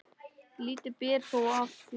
Lítið ber þó á því.